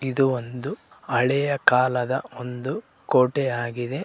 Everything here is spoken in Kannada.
ಇದು ಒಂದು ಹಳೆಯ ಕಾಲದ ಒಂದು ಕೋಟೆ ಆಗಿದೆ.